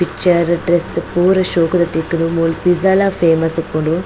Picture dress ಪೂರ ಶೋಕುದ ತಿಕ್ಕುಂಡು ಮೂಲು ಫಿಜ್ಜಲ ಫೇಮಸ್ ಉಪ್ಪುಂಡು.